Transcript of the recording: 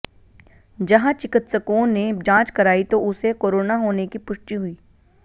जहां चिकित्सकों ने जांच कराई तो उसे कोरोना होने की पुष्टि हुई